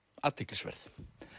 athyglisverð